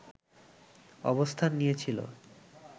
অবস্থান নিয়েছিল